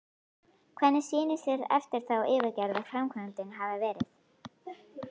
Hvernig sýnist þér eftir þá yfirferð að framkvæmdin hafi verið?